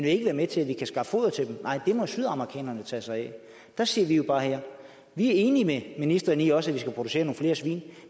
ikke være med til at vi kan skaffe foder til dem nej det må sydamerikanerne tage sig af der siger vi jo bare vi er enige med ministeren i også skal producere nogle flere svin